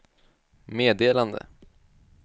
meddelande